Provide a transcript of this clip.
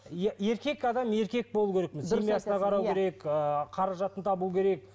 иә еркек адам еркек болу керек семьясына қарау керек ыыы қаражатын табу керек